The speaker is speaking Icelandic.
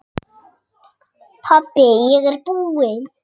Pabbi ég er búinn!